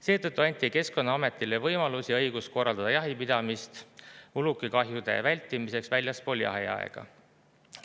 Seetõttu anti Keskkonnaametile võimalus ja õigus korraldada jahipidamist ulukikahjude vältimiseks väljaspool jahiaega.